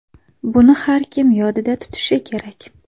Buni har kim yodida tutishi kerak.